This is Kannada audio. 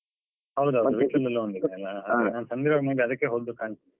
ಹೌದಾ ವಿಟ್ಲದಲ್ಲಿ ಒಂದು ಇದೆ ಅಲಾ ನಾನು ಸಣ್ಣದಿರುವಾಗ maybe ಅದಕ್ಕೇ ಹೋದ್ದು ಕಾಣ್.